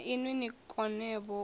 na inwi ni konevho u